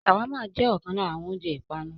ṣàwámà jẹ ọkan lára àwọn oúnjẹ ìpanu.